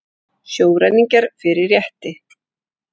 Sjóræningjar fyrir rétti